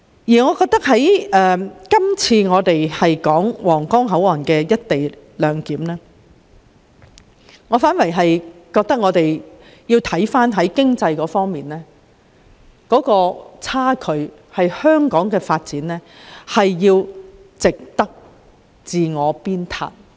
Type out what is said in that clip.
在今次有關推展皇崗口岸"一地兩檢"安排的討論中，我反而認為應着眼於經濟方面的差距，而香港的發展是需要我們自我鞭撻的。